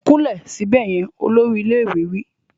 Kúnlẹ̀ síbẹ̀ yẹn! Olórí ilé ìwé wí.